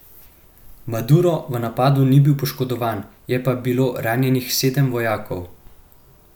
Maduro v napadu ni bil poškodovan, je pa bilo ranjenih sedem vojakov.